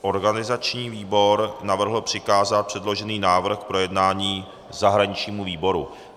Organizační výbor navrhl přikázat předložený návrh k projednání zahraničnímu výboru.